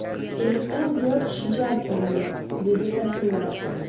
Ellikdan ziyod kishi jalb qilingan”, dedi Sayfullayev.